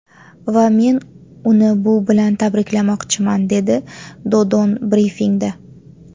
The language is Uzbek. Va men uni bu bilan tabriklamoqchiman”, dedi Dodon brifingda.